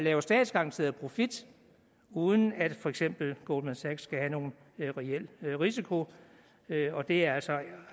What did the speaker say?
er en statsgaranteret profit uden at for eksempel goldman sachs skal have nogen reel risiko og det er altså